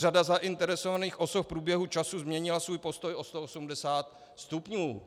Řada zainteresovaných osob v průběhu času změnila svůj postoj o 180 stupňů.